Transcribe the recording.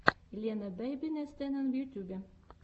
елена бэйбинест энэн в ютюбе